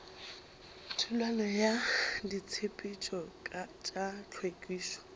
thulano ya ditshepetšo tša hlwekišo